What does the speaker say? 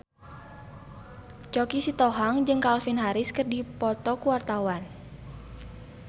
Choky Sitohang jeung Calvin Harris keur dipoto ku wartawan